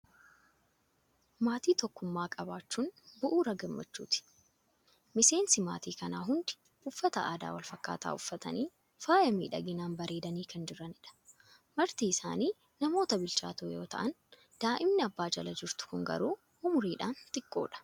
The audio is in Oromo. Maatii tokkummaa qabaachuun bu'uura gammachuuti. Miseensi Maatiin kanaa hundi uffata aadaa wal fakkaataa uffatanii, faaya miidhaginaan bareedanii kan jiranidha. Marti isaanii namoota bilchaatoo yoo ta'an, daa'imni abbaa jala jirtu kun garuu umuriidhaan xiqqoodha.